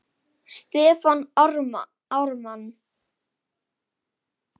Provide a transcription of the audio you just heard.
Stefán Ármann.